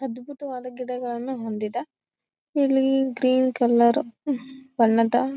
ಅದ್ಭುತವಾದ ಗಿಡಗಳನ್ನು ಹೊಂದಿದ ಇಲ್ಲಿ ಗ್ರೀನ್‌ ಕಲರ್‌ ಬಣ್ಣದ.